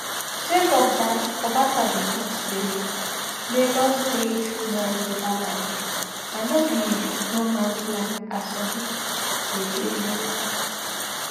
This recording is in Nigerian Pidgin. sake of dat obasa bin tok say lagos state na yoruba land and no be no mans land as some pipo dey claim